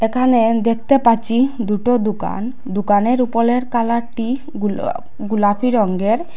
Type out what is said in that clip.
এখানে দেখতে পাচ্ছি দুটো দুকান দুকানের উপলের কালারটি গুলা গুলাপি রঙ্গের।